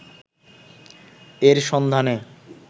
এর সন্ধানে